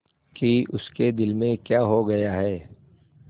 कि उसके दिल में क्या हो गया है